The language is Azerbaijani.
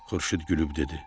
Xurşud gülüb dedi: